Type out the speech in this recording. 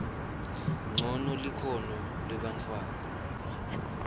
ncono likhono lebantfwana